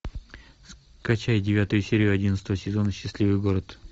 скачай девятую серию одиннадцатого сезона счастливый город